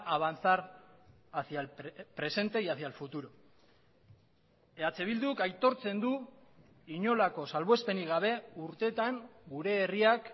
avanzar hacía el presente y hacia el futuro eh bilduk aitortzen du inolako salbuespenik gabe urteetan gure herriak